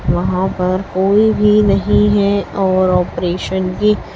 वहां पर कोई भी नहीं है और ऑपरेशन की--